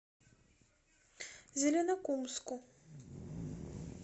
зеленокумску